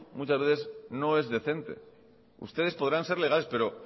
no es decente ustedes podrán ser legales pero